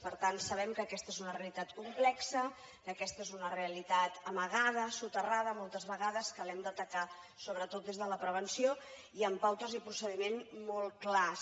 per tant sabem que aquesta és una realitat complexa que aquesta és una realitat amagada soterrada moltes vegades que l’hem d’atacar sobretot des de la prevenció i amb pautes i procediments molt clars